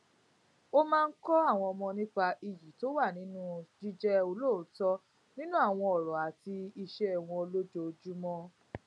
ó máa ń kó àwọn ọmọ nípa iyì tó wà ninú jíjẹ olóòótó nínú àwọn òrò àti ìṣe wọn lójoojúmó